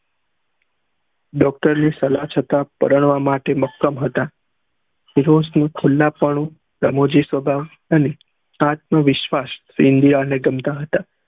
doctor ની સલાહ છતાં પરણવા માટે મક્કમ હતા ફિરોજ નું ખુલ્લા પણ અને આત્મવિશ્વાસ ઇન્દિરા ને ગમતા હતા